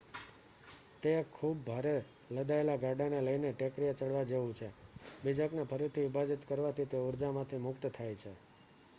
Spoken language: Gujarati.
તે એક ખુબ ભારે લદાયેલા ગાડાને લઈને ટેકરીએ ચડવા જેવું છે બીજકને ફરીથી વિભાજીત કરવાથી તે ઉર્જામાંથી મુક્ત થાય છે